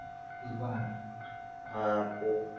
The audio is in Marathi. हा ते पण आहे हा.